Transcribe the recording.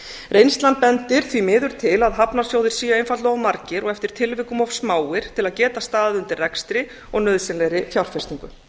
reynslan bendir því miður til að hafnarsjóðir séu einfaldlega of margir og eftir tilvikum of smáir til að geta staðið undir rekstri og nauðsynlegri fjárfestingu